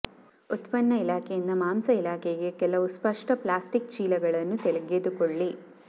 ಉತ್ಪನ್ನ ಇಲಾಖೆಯಿಂದ ಮಾಂಸ ಇಲಾಖೆಗೆ ಕೆಲವು ಸ್ಪಷ್ಟ ಪ್ಲಾಸ್ಟಿಕ್ ಚೀಲಗಳನ್ನು ತೆಗೆದುಕೊಳ್ಳಿ